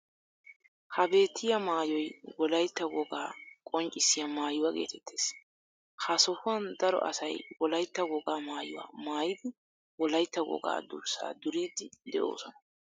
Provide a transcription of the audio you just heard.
Ha beettiya maayoy wolaytta wogaa qonccissiya maayuwa geetettees. Ha sohuwan daro asay wolaytta wogaa maayuwa maayidi wolaytta wogaa durssaa duriiddi de'oosona.